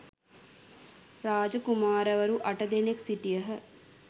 රාජ කුමාරවරු අට දෙනෙක් සිටියහ.